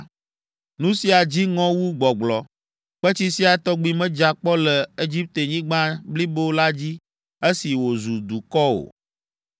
Nu sia dzi ŋɔ wu gbɔgblɔ, kpetsi sia tɔgbi medza kpɔ le Egiptenyigba blibo la dzi esi wòzu dukɔ o.